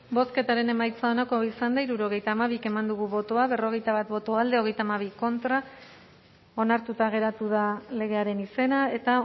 bozketaren emaitza onako izan da hirurogeita hamabi eman dugu bozka berrogeita bat boto alde treinta y dos contra onartuta geratu da legearen izena eta